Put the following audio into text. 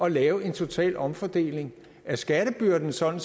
at lave en total omfordeling af skattebyrden sådan